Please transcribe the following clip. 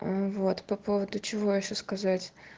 вот по поводу чего ещё сказать